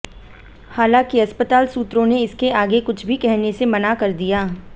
हालांकि अस्पताल सूत्रों ने इसके आगे कुछ भी कहने से मना कर दिया